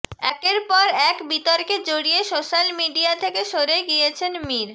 একের পর এক বিতর্কে জড়িয়ে সোশ্যাল মিডিয়া থেকে সরে গিয়েছেন মীর